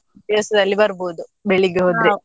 ದಿವ್ಸದಲ್ಲಿ ಬರ್ಬೋದು ಬೆಳ್ಳಿಗೆ ಹೋದ್ರೆ.